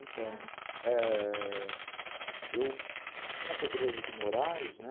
Então, ãh... é... eu, aqui na Pedroso de Moraes, né?